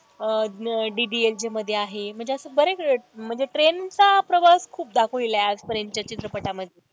अह DDLJ मध्ये आहे म्हणजे अशा बऱ्या म्हणजे train चा प्रवास खूप दाखवलेला आहे आजपर्यंतच्या चित्रपटामध्ये.